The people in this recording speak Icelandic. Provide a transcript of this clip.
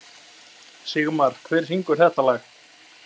Sigmar, hver syngur þetta lag?